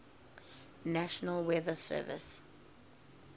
national weather service